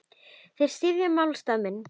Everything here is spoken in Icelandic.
Þeir styðja málstað minn.